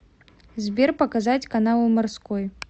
сбер показать каналы морской